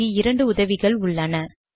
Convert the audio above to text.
இங்கு இரண்டு உதவிகள் உள்ளன